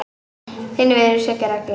Þinn vinur Siggi Raggi